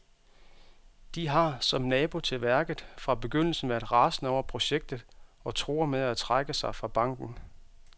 De har, som nabo til værket, fra begyndelsen været rasende over projektet og truer med at trække sig fra banken.